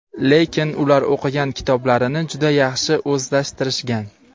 lekin ular o‘qigan kitoblarini juda yaxshi o‘zlashtirishgan.